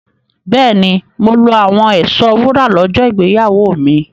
Bẹ́ẹ̀ni, mo lo àwọn ẹ̀ṣọ́ wúrà lọ́jọ́ ìgbéyàwó mi.